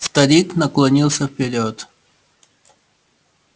старик наклонился вперёд